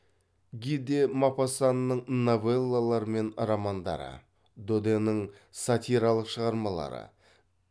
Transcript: ги де мопассанның новеллалары мен романдары доденің сатиралық шығармалары